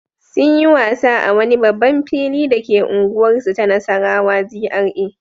Sun yi wasa a wani babban fili dake unguwarsu ta Nassarawa GRA.